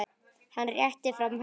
Hann réttir fram hönd.